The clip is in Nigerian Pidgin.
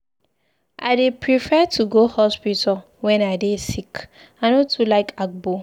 I dey prefer to go hospital wen I dey sick, I no too like agbo.